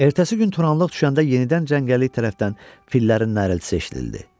Ertəsi gün qaranlıq düşəndə yenidən cəngəllik tərəfdən fillərin nəriltisi eşidildi.